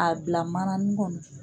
a bila mananin kɔnɔ.